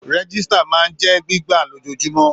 Rẹ̀gisita máa ń jẹ gbígbà lojoojumọ̀.